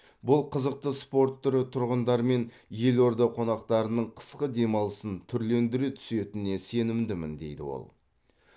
бұл қызықты спорт түрі тұрғындар мен елорда қонақтарының қысқы демалысын түрлендіре түсетініне сенімдімін дейді ол